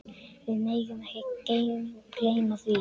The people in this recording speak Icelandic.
Við megum ekki gleyma því.